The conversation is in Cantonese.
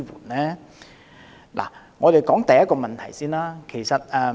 我們首先看看第一個問題。